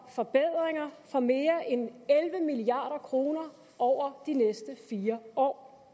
forbedringer for mere end elleve milliard kroner over de næste fire år